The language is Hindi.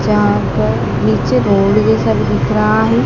जहां पर नीचे धोबी जैसा भी दिख रहा है।